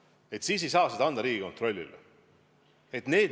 Sellele viidates ei saa keelduda selle ülesande andmisest Riigikontrollile.